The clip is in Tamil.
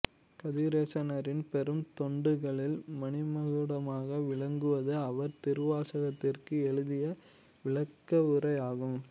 கதிரேசனாரின் பெரும் தொண்டுகளில் மணிமகுடமாக விளங்குவது அவர் திருவாசகத்திற்கு எழுதிய விளக்கவுரை ஆகும்